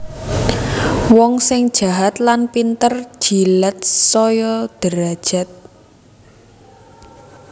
Wong sing jahat lan pinter jilat saya derajat